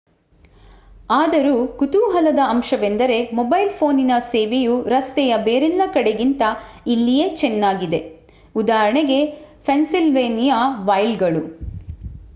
ಆದರೂ ಕುತೂಹಲದ ಅಂಶವೆಂದರೆ ಮೊಬೈಲ್ ಪೋನಿನ ಸೇವೆಯು ರಸ್ತೆಯ ಬೇರೆಲ್ಲ ಕಡೆಗಿಂತ ಇಲ್ಲಿಯೇ ಚೆನ್ನಾಗಿದೆ. ಉದಾಹರಣೆಗೆ ಪೆನ್ಸಿಲ್ವೇನಿಯಾ ವೈಲ್ಡ್‌ಗಳು